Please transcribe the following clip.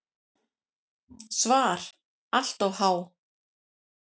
SVAR Allt of há.